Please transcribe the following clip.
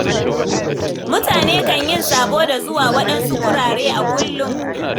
Mutane kan yi sabo da zuwa waɗansu gurare a kullum.